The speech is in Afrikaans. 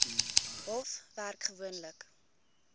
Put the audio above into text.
hof werk gewoonlik